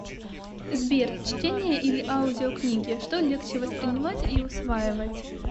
сбер чтение или аудиокнигичто легче воспринимать и усваивать